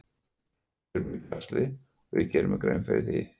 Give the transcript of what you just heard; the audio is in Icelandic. Við erum í basli og ég geri mér grein fyrir því.